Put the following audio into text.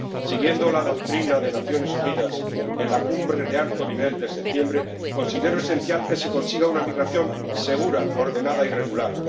Siguiendo la doctrina de las Naciones Unidas en la Cumbre de alto nivel de septiembre, considero esencial que se consiga una migración segura, ordenada y regular.